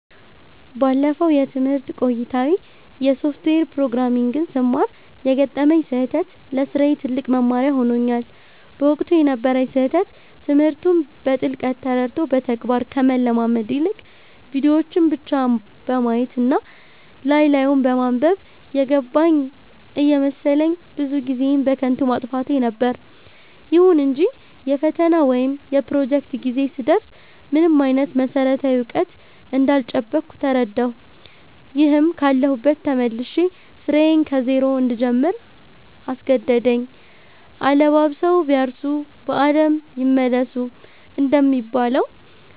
ባለፈው የትምህርት ቆይታዬ የሶፍትዌር ፕሮግራሚንግን ስማር የገጠመኝ ስህተት ለስራዬ ትልቅ መማሪያ ሆኖኛል። በወቅቱ የነበረኝ ስህተት ትምህርቱን በጥልቀት ተረድቶ በተግባር ከመለማመድ ይልቅ፣ ቪዲዮዎችን ብቻ በማየት እና ላይ ላዩን በማንበብ 'የገባኝ' እየመሰለኝ ብዙ ጊዜዬን በከንቱ ማጥፋቴ ነበር። ይሁን እንጂ የፈተና ወይም የፕሮጀክት ጊዜ ሲደርስ ምንም አይነት መሰረታዊ እውቀት እንዳልጨበጥኩ ተረዳሁ፤ ይህም ካለሁበት ተመልሼ ስራዬን ከዜሮ እንድጀምር አስገደደኝ።' አለባብሰው ቢያርሱ በአረም ይመለሱ' እንደሚባለው፣